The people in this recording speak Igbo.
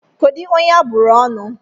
Kedụ onye a bụrụ ọnụ?